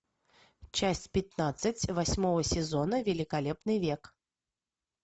часть пятнадцать восьмого сезона великолепный век